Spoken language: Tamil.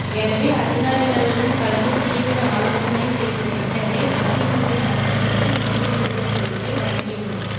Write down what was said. எனவே அதிகாரிகளுடன் கலந்து தீவிர ஆலோசனை செய்த பின்னரே மொயின் உல் ஹக்கிற்கு இந்திய தூதர் பொறுப்பை வழங்கியுள்ளோம்